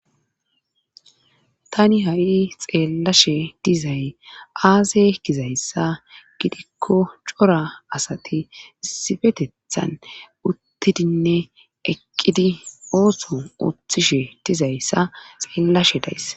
Tani ha'i xeellashe dizay aaze gizayssa gidikko cora asati issipetethan uttidinne eqqidi ooso ooththishe dizayssa xeellashe days